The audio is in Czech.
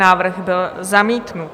Návrh byl zamítnut.